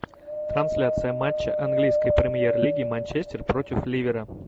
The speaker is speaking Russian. трансляция матча английской премьер лиги манчестер против ливера